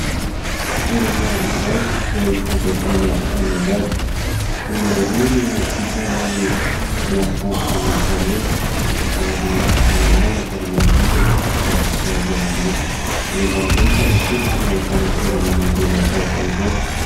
Toerana iray izay angadiana amin'ny angady, olona roa no isan'ny miasa amin'io tany io ary malalaka ny manodidina rakotra zava-maitso, any ambanivohitra matetika no ahitana toerana mangina tahaka izao.